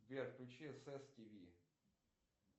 сбер включи эсс ти ви